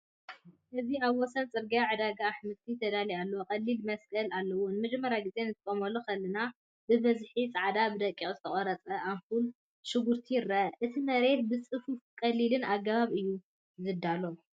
እዚ ኣብ ወሰን ጽርግያ ዕዳጋ ኣሕምልቲ ተዳልዩ ኣሎ፣ ቀሊል መስቀል ኣለዎ። ንመጀመርታ ግዜ ክትጥምቶ ከለኻ፡ ብብዝሒ ጻዕዳን ብደቂቕ ዝተቖርጸን ኣምፑላት ሽጉርቲ ይርአ። እቲ መሬት ብጽፉፍን ቀሊልን ኣገባብ እዩ ዝዳሎ።